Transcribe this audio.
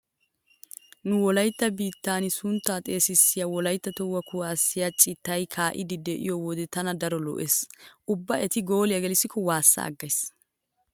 Nu wolaytta biittan wolaytta sunttaa xeesissiya wolaytta tohuwa kuwaassiya citay kaa'iiddi de'iyo wode tana daro lo'ees. Ubba eti gooliya gelissikko waassa aggays.